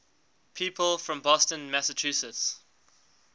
people from boston massachusetts